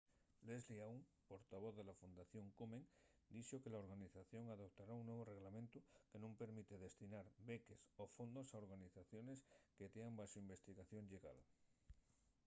leslie aun portavoz de la fundación komen dixo que la organización adoptara un nuevu reglamentu que nun permite destinar beques o fondos a organizaciones que tean baxo investigación llegal